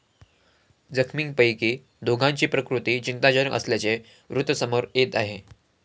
जखमींपैकी दोघांची प्रकृती चिंताजनक असल्याचे वृत्त समोर येत आहे.